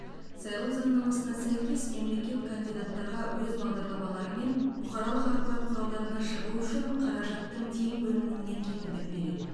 сайлау заңнамасына сәйкес мемлекет кандидаттарға өз бағдарламаларымен бұқаралық ақпарат құралдарына шығу үшін қаражаттың тең бөлінуіне кепілдік береді